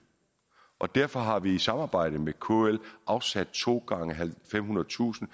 og derfor har vi i samarbejde med kl afsat to gange femhundredetusind